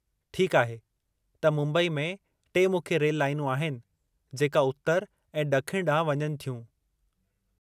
ठीकु आहे, त मुंबई में टे मुख्य रेल लाइनूं आहिनि जेका उत्तर ऐं ड॒खिण ॾांहुं वञनि थियूं।